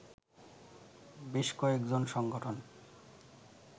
বেশ কয়েকজন সংগঠন